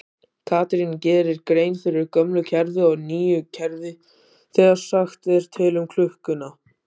Katrín gerir grein fyrir gömlu kerfi og nýju kerfi þegar sagt er til um klukkuna.